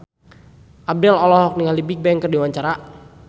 Abdel olohok ningali Bigbang keur diwawancara